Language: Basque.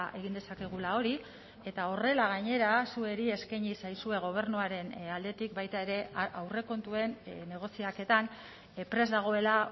egin dezakegula hori eta horrela gainera zuei eskaini zaizue gobernuaren aldetik baita ere aurrekontuen negoziaketan prest dagoela